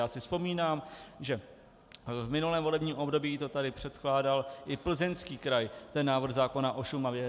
Já si vzpomínám, že v minulém volebním období to tady předkládal i Plzeňský kraj, ten návrh zákona o Šumavě.